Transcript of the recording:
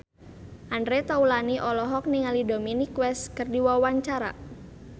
Andre Taulany olohok ningali Dominic West keur diwawancara